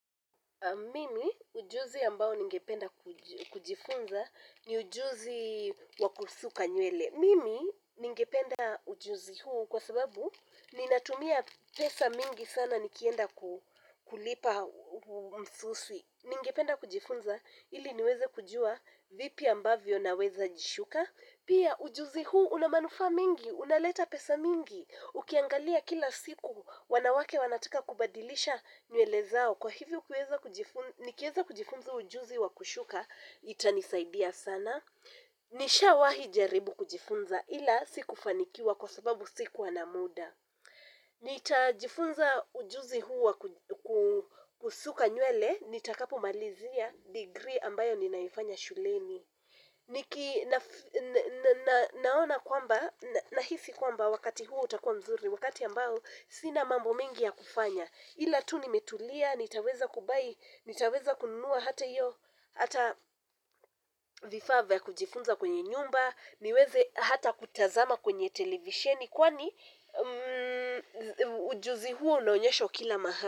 Mimi, ujuzi ambao ningependa kujifunza ni ujuzi, wa kusuka nywele, mimi ningependa ujuzi huo kwa sababu ninatumia pesa mingi sana nikienda ku kulipa msuswi. Ningependa kujifunza, ili niweze kujua, vipi ambavyo naweza jishuka. Pia ujuzi huu unamanufa mingi, unaleta pesa mingi. Ukiangalia kila siku, wanawake wanataka kubadilisha, nywele zao. Kwa hivyo ukiweza kujifun, nikiweza kujifunza ujuzi wa kushuka, itanisaidia sana. Nishawahi jaribu kujifunza ila, sikufanikiwa kwa sababu sikuwa na muda. Nitajifunza ujuzi huu wa kusuka nywele, nitakapomalizia degree ambayo ninaifanya shuleni niki na naona kwamba, nahisi kwamba wakati huo utakua mzuri, wakati ambao, sina mambo mengi ya kufanya. Ila tu nimetulia, nitaweza kubuy, nitaweza kununua hata hiyo, hata vifaa vya kujifunza kwenye nyumba, niweze hata kutazama kwenye televisheni, kwani ujuzi huo unaonyeshwa kila maha.